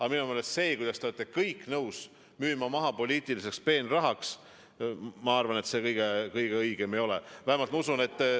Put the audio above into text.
Aga minu meelest see, kuidas te olete kõik nõus maha müüma poliitilise peenraha saamiseks – ma arvan, et see kõige õigem ei ole.